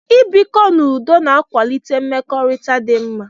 I bikọ n'udo na-akwalite mmekọrịta dị mma.